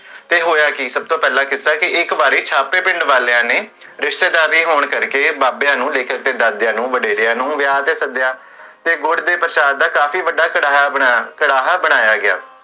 ਤੇ ਹੋਇਆ ਕੀ? ਸਭਤੋ ਪਹਲਾ ਜਿਦਾਨ ਕਿ, ਇਕ ਵਾਰੀ ਸਾਡੇ ਪਿੰਡ ਵਾਲਿਆਂ ਨੇ, ਰਿਸ਼ਤੇਦਾਰੀ ਹੋਣ ਕਰਕੇ, ਬਾਬੇਆਂ ਨੂ, ਲੇਖਕ ਦੇ ਦਾਦੇਆਂ ਨੂ, ਵਡੇਰੇਆਂ ਨੂੰ, ਵਿਆਹ ਤੇ ਸਦੇਆ, ਤੇ ਗੁੜ ਦੇ ਪ੍ਰਸ਼ਾਦ ਦਾ ਕਾਫੀ ਵੱਡਾ ਕੜਾਹਾ ਬਨਾਇਆ ਗਿਆ